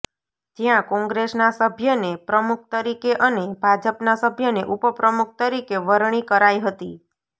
જ્યાં કોંગ્રેસના સભ્યને પ્રમુખ તરીકે અને ભાજપના સભ્યને ઉપપ્રમુખ તરીકે વરણી કરાઇ હતી